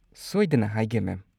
ꯁꯣꯏꯗꯅ ꯍꯥꯏꯒꯦ, ꯃꯦꯝ꯫